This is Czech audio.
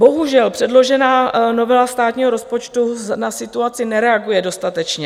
Bohužel, předložená novela státního rozpočtu na situaci nereaguje dostatečně.